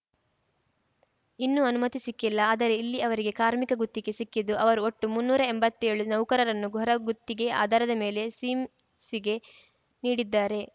ಇನ್ನೂ ಅನುಮತಿ ಸಿಕ್ಕಿಲ್ಲ ಆದರೆ ಇಲ್ಲಿ ಅವರಿಗೆ ಕಾರ್ಮಿಕ ಗುತ್ತಿಗೆ ಸಿಕ್ಕಿದ್ದು ಅವರು ಒಟ್ಟು ಮುನ್ನೂರ ಎಂಬತ್ತೇಳು ನೌಕರರನ್ನು ಹೊರಗುತ್ತಿಗೆ ಆಧಾರದ ಮೇಲೆ ಸಿಮ್ ಸ್ಗೆ ನೀಡಿದ್ದಾರೆ